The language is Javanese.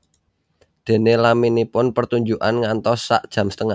Déné laminipun pertunjukan ngantos sak jam setengah